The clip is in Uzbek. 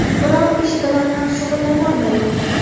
Biror ish bilan ham shug‘ullanolmayman.